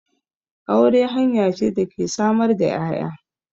Aure hanya ce da ke samar da 'ya'ya.